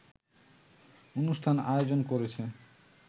অনুষ্ঠান আয়োজন করেছে